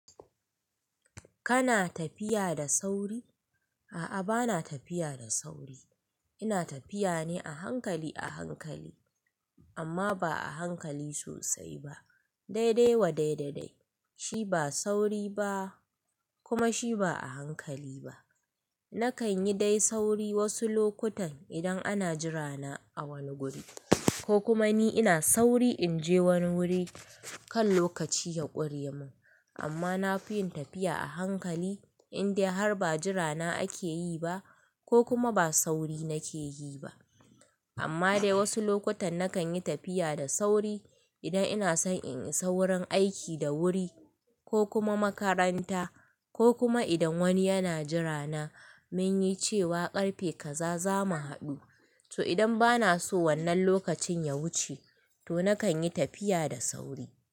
Kana tafiya da sauri? A'a, bana tafiya da sauri. Ina tafiya ne a hankali a hankali, amma ba'a hankali sosai ba. Daidai wa dai da dai. Shi ba sauri ba kuma shi ba a hankali ba. Nakan yi dai sauri wasu lokutan idan ana jira na a wani guri. Ko kuma ni ina sauri in je wani wuri kan lokaci ya ƙure mun. Amma na fi yin tafiya a hankali indai har ba jira na ake yi ba. Ko kuma ba sauri nake yi ba. Amma dai wasu lokutan nakan yi tafiya da sauri idan ina san in yi saurin aiki da wuri ko kuma makaranta ko kuma idan wani yana jira na mun yi cewa ƙarfe kaza za mu haɗu. To idan bana so wannan lokacin ya wuce to nakan yi tafiya da sauri.